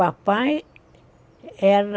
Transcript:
Papai era...